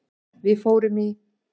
Við fórum í